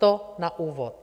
To na úvod.